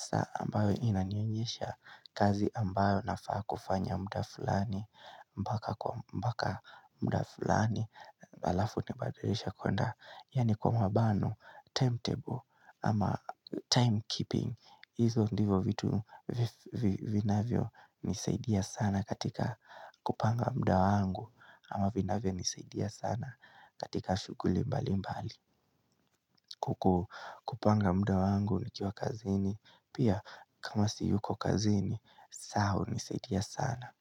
saa ambayo inanionyesha kazi ambayo nafaa kufanya muda fulani, mpaka kwa mpaka muda fulani, halafu nitabadirisha kwenda, Yani kwa mabano, time table ama time keeping hizo ndivo vitu vinavyo nisaidia sana katika kupanga muda wangu ama vinavyo nisaidia sana katika shughuli mbali mbali kupanga muda wangu nikiwa kazini Pia kama siyuko kazini, saa unisaidia sana.